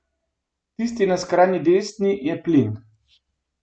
Tisti na skrajni desni je plin.